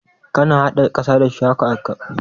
Kana haɗa ƙasa da ciyawa kafin shuki?